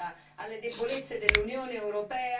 il processo di integrazione politica.